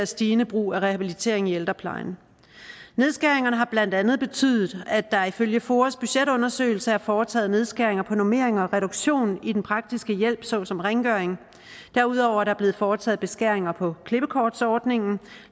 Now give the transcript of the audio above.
stigende brug af rehabilitering i ældreplejen nedskæringerne har blandt andet betydet at der ifølge foas budgetundersøgelse er foretaget nedskæringer på normeringer og reduktion i den praktiske hjælp såsom rengøring derudover er der blevet foretaget beskæringer på klippekortsordning